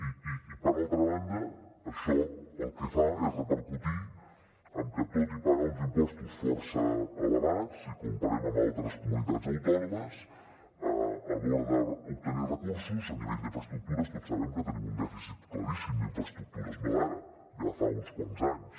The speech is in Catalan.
i per altra banda això el que fa és repercutir en que tot i pagar uns impostos força elevats si ho comparem amb altres comunitats autònomes a l’hora d’obtenir recursos a nivell d’infraestructures tots sabem que tenim un dèficit claríssim d’infraestructures no d’ara ja fa uns quants anys